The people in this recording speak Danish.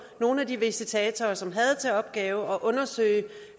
nogle af de visitatorer som havde til opgave at undersøge